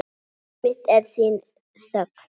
Líf mitt er þín þögn.